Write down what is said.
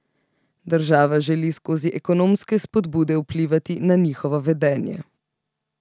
Država želi skozi ekonomske spodbude vplivati na njihovo vedenje.